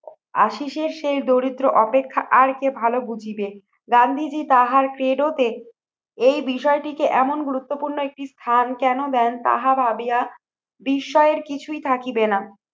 আশীষের সেই দরিদ্র অপেক্ষা আর কে ভালো বুঝিবে। গান্ধীজী তাহার ক্রীড়তে এই বিষয়টিকে এমন গুরুত্বপূর্ণ একটি স্থান কেন দেন তাহা ভাবিয়া বিস্ময়ের কিছুই থাকিবে না।